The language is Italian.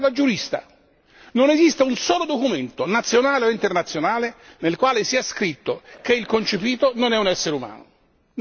Ora vi parlo da giurista non esiste un solo documento, nazionale o internazionale, nel quale sia scritto che il concepito non è un essere umano.